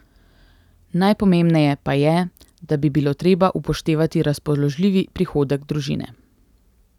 Najpomembneje pa je, da bi bilo treba upoštevati razpoložljivi prihodek družine.